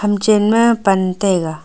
ha chen ma ban taiga.